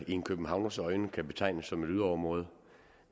i en københavners øjne kan betragtes som et yderområde